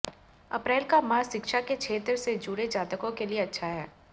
अप्रैल का माह शिक्षा के क्षेत्र से जुड़े जातकों के लिए अच्छा है